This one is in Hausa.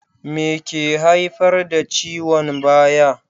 Me ke haifar da ciwon baya?